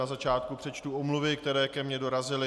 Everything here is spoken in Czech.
Na začátku přečtu omluvy, které ke mně dorazily.